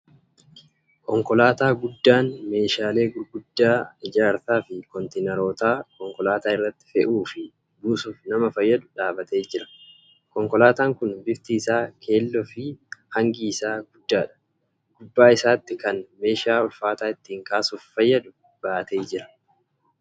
Konkolaataa guddaan meeshaalee gurguddaa ijaarsaa fi kontiinaroota konkolaataa irratti fe'uu fi buusuuf nama fayyadu dhaabbatee jira. Konkolaataan kun bifti isaa keelloo fi hangi isaa guddaadha. Gubbaa isaatti kan meeshaa ulfaataa ittiin kaasuuf fayyadu. baatee argama.